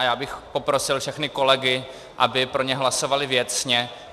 A já bych poprosil všechny kolegy, aby pro ně hlasovali věcně.